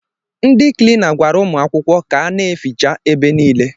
Ndị kilina gwara ụmụakwụkwọ ka na fichaa ebe niile